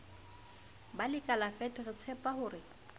ba lekalala fet re tshepahore